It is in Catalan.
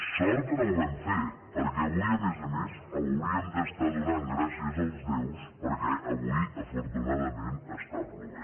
sort que no ho vam fer perquè avui a més a més hauríem d’estar donant gràcies als déus perquè avui afortunadament plou